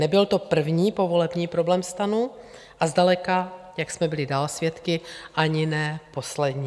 Nebyl to první povolební problém STANu a zdaleka, jak jsme byli dál svědky, ani ne poslední.